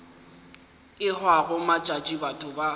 e hwago matšatši batho ba